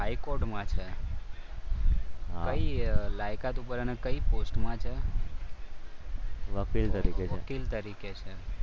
હાઇકોર્ટમાં છે કઈ લાયકાત ઉપર અને કઈ પોસ્ટમાં છે? વકીલ તરીકે છે વકીલ તરીકે છે.